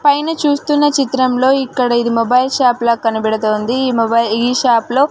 పైన చూస్తున్న చిత్రంలో ఇక్కడ ఇది మొబైల్ షాప్ లా కనబడుతోంది ఈ మొబైల్ ఈ షాప్ లో --